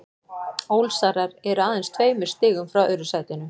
Ólsarar eru aðeins tveimur stigum frá öðru sætinu.